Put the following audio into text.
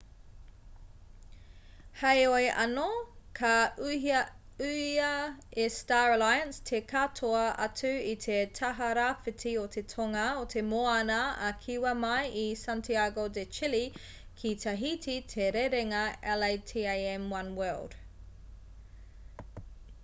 heoi anō ka ūhia e star alliance te katoa atu i te taha rāwhiti o te tonga o te moana a kiwa mai i santiago de chile ki tahiti te rerenga latam oneworld